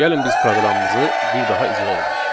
Gəlin biz proqramımızı bir daha icra edək.